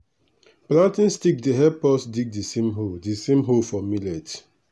planting stick dey help us dig d same hole d same hole for millet.